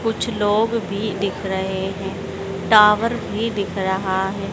कुछ लोग भी दिख रहे हैं टावर भी दिख रहा है।